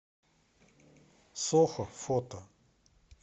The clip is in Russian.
сохо фото